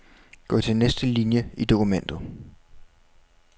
Gå til næste linie i dokumentet.